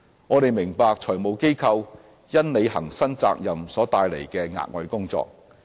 我們明白財務機構因履行新責任所帶來的額外工作。